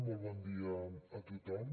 molt bon dia a tothom